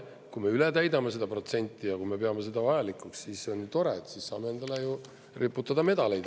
Kui me üle täidame seda protsenti ja kui me peame seda vajalikuks, siis on ju tore, siis saame endale riputada medaleid.